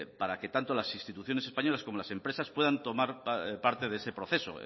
para que tanto las instituciones españolas como las empresas puedan tomar parte de ese proceso